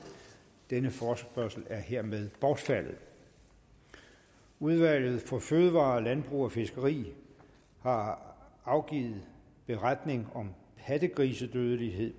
denne forespørgsel er hermed bortfaldet udvalget for fødevarer landbrug og fiskeri har afgivet beretning om pattegrisedødelighed